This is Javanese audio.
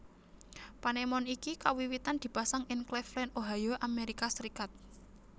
Panemon iki kawiwitan dipasang ing Claveland Ohio Amerika Serikat